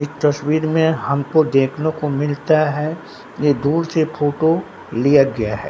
एक तस्वीर में हमको देखने को मिलता है ये दूर से फोटो लिया गया है।